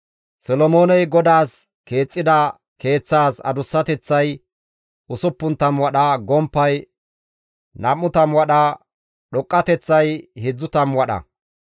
Solomooney GODAAS keexxida Keeththaas adussateththay 60 wadha, gomppay 20 wadha, dhoqqateththay 30 wadha.